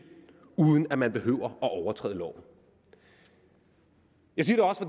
uden at man behøver at overtræde loven jeg siger